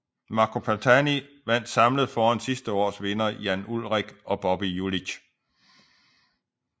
Marco Pantani vandt samlet foran sidste års vinder Jan Ullrich og Bobby Julich